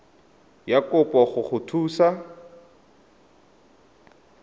ya kopo go go thusa